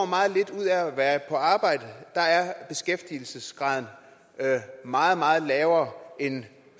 meget lidt ud af at være på arbejde er beskæftigelsesgraden meget meget lavere end